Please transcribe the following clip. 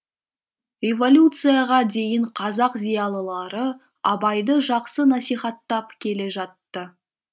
революцияға дейін қазақ зиялылары абайды жақсы насихаттап келе жатты